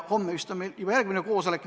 Homme vist on meil juba järgmine koosolek.